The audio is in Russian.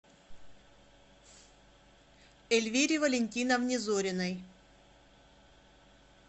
эльвире валентиновне зориной